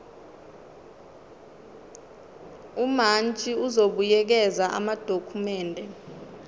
umantshi uzobuyekeza amadokhumende